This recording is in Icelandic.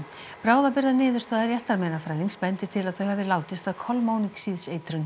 bráðabirgðaniðurstaða réttarmeinafræðings bendir til að þau hafi látist af